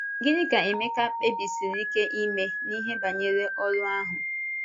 Gịnị ka Emeka kpèbìsìrì ike ime n’ihe banyere ọ́rụ ahụ?